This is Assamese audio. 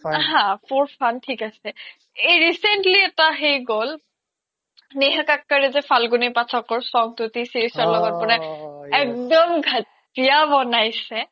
হা for fun থিক আছে এই recently এটা সেই গ্'ল নেহা কক্কৰ ৰে যে song তো t series ৰ লগত বনাই একদম ঘাতিয়া বনাইছে